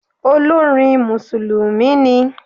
Olórin Mùsùlùmí ni.